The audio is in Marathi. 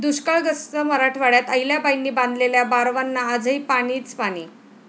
दुष्काळग्रस्त मराठवाड्यात अहिल्याबाईंनी बांधलेल्या बारवांना आजही पाणीच पाणी!